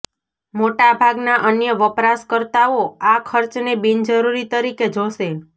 મોટા ભાગના અન્ય વપરાશકર્તાઓ આ ખર્ચને બિનજરૂરી તરીકે જોશે